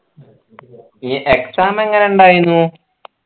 ഈ exam എങ്ങനെ ഉണ്ടായിന്ന